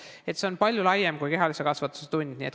Nii et see on palju laiem teema kui kehalise kasvatuse tund.